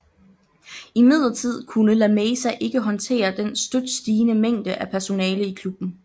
Imidlertid kunne La Masia ikke håndtere den støt stigende mængde af personale i klubben